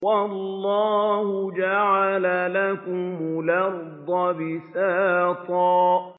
وَاللَّهُ جَعَلَ لَكُمُ الْأَرْضَ بِسَاطًا